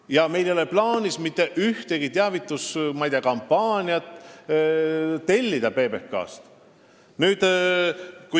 Ja meil ei ole plaanis tellida PBK-lt mitte ühtegi teavituskampaaniat.